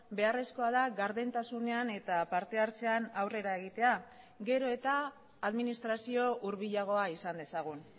beharrezkoa da gardentasunean eta partehartzean aurrera egitea gero eta administrazio hurbilagoa izan dezagun